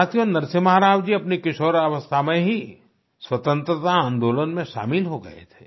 साथियो नरसिम्हा राव जी अपनी किशोरावस्था में ही स्वतंत्रता आंदोलन में शामिल हो गए थे